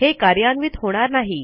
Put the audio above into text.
हे कार्यान्वित होणार नाही